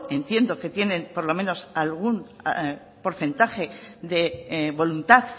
entiendo que tienen por lo menos algún porcentaje de voluntad